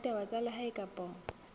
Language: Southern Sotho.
ya ditaba tsa lehae kapa